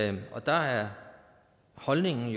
ej og der er holdningen